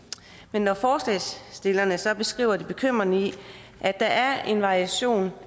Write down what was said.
når forslagsstillerne så beskriver det bekymrende i at der er en variation